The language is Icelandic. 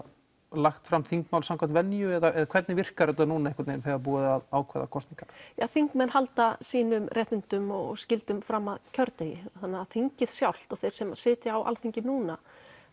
lagt fram þingmál samkvæmt venju eða hvernig virkar þetta núna þegar búið er að ákveða kosningar þingmenn halda sínum réttindum og skyldum fram að kjördegi þannig þingið sjálft og þeir sem sitja á Alþingi núna